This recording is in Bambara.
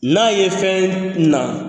N'a ye fɛn